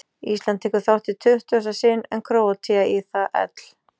Ísland tekur þátt í tuttugasta sinn en Króatía í það ell